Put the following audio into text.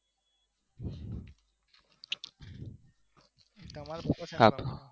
તમારા પિતા શેમાં?